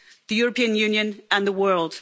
the European Union and the world.